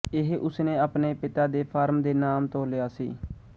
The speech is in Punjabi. ਇਹ ਉਸਨੇ ਆਪਣੇ ਪਿਤਾ ਦੇ ਫਾਰਮ ਦੇ ਨਾਮ ਤੋਂ ਲਿਆ ਸੀ